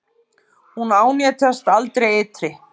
Hún ánetjast aldrei eitri.